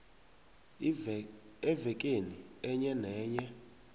evekeni enye nenye